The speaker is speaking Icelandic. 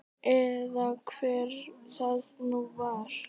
Eða hver það nú var.